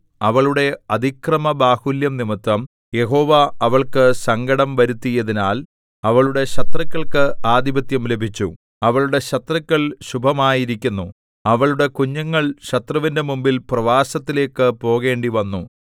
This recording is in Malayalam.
അവളുടെ അതിക്രമബാഹുല്യം നിമിത്തം യഹോവ അവൾക്ക് സങ്കടം വരുത്തിയതിനാൽ അവളുടെ ശത്രുക്കൾക്ക് ആധിപത്യം ലഭിച്ചു അവളുടെ ശത്രുക്കൾ ശുഭമായിരിക്കുന്നു അവളുടെ കുഞ്ഞുങ്ങൾ ശത്രുവിന്റെ മുമ്പിൽ പ്രവാസത്തിലേയ്ക്ക് പോകേണ്ടിവന്നു